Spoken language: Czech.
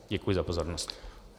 Děkuji za pozornost.